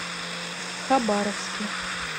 хабаровске